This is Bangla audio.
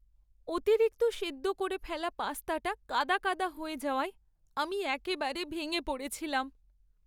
অতিরিক্ত সেদ্দ করে ফেলা পাস্তাটা কাদা কাদা হয়ে যাওয়ায়, আমি একেবারে ভেঙে পড়েছিলাম।